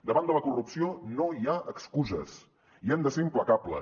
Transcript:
davant de la corrupció no hi ha excuses i hem de ser implacables